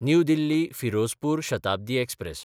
new दिल्ली–फिरोजपूर Shatabdi express